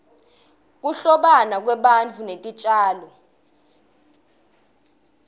kuhlobana kwebantfu netitjalo